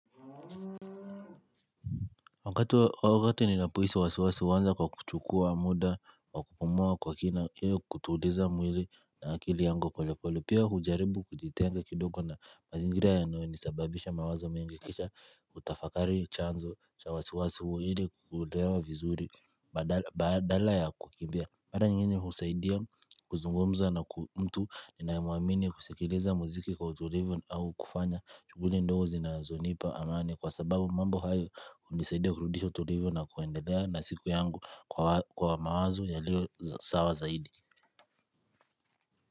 Wakati ninapohisi wasiwasi huanza kwa kuchukua muda wa kupumua kwa kina hiyo kutuliza mwili na akili yangu polepole, pia hujaribu kujitenga kidogo na mazingira yanoyonisababisha mawazo mingi kisha kutafakari chanzo cha wasiwasi huo ili kuielewa vizuri badala ya kukimbia mara nyingi husaidia kuzungumza na mtu ninayemwamini kusikiliza muziki kwa utulivu au kufanya shughuli ndogo zinazonipa amani kwa sababu mambo hayo hunisaidia kurudisha ulivu na kuendelea na siku yangu kwa mawazo yaliyo sawa zaidi.